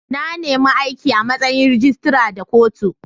Na nima aiki a' matsayin rijistira da kotu.